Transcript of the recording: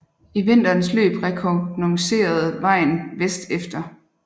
I vinterens løb rekognosceredes vejen vest efter